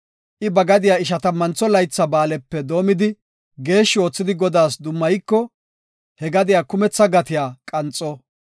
I ba gadiya Ishatammantho Laytha Ba7aalepe doomidi geeshshi oothidi Godaas dummayiko, he gadiya kumetha gatiya qanxo.